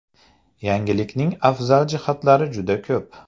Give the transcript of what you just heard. Yangilikning afzal jihatlari juda ko‘p.